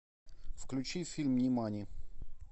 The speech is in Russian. включи фильм нимани